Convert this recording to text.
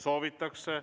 Soovitakse.